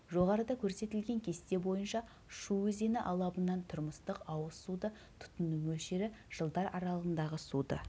жоғарыда көрсетілген кесте бойынша шу өзені алабынан тұрмыстық ауыз суды тұтыну мөлшері жылдар аралығындағы суды